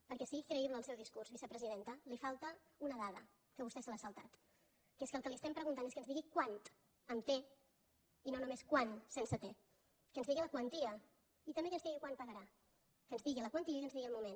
perquè sigui creïble el seu discurs vicepresidenta li falta una dada que vostè se l’ha saltat que és que el que li estem preguntant és que ens digui quant amb te i no només quan sense te que ens digui la quantia i també que ens digui quan pagarà que ens digui la quantia i que ens digui el moment